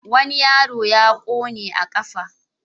Wani yaro ya ƙone a ƙafa.